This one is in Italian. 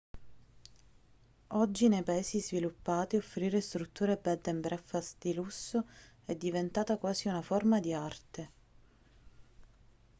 oggi nei paesi sviluppati offrire strutture bed & breakfast di lusso è diventata quasi una forma di arte